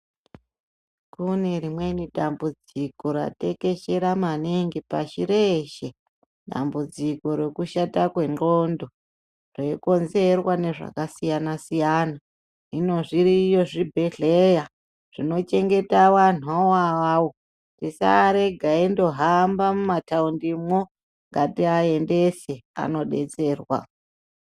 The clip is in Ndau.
Kune rimweni dambudziko ratekesgera maningi pashi reshe dambudziko rekushate kwendxondo reyikonzerwa nezvakasiyana siyana hino zviriyo zvibhedhlera zvino chengeta vantu vo avavo tisarega veingohamba mumataundi mwo ngati aendese vanodetserwa.